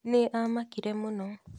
Nĩ aamakire mũno.